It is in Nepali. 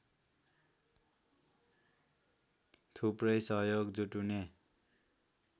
थुप्रै सहयोग जुटुने